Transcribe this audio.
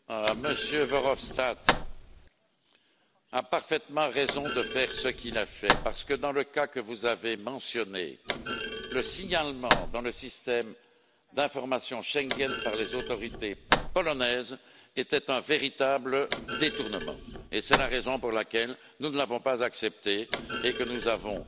M. Verhofstadt a eu parfaitement raison de faire ce qu'il a fait, parce que dans le cas que vous avez mentionné, le signalement dans le système d'information Schengen par les autorités polonaises était un véritable détournement et c'est la raison pour laquelle nous ne l'avons pas accepté et que nous avons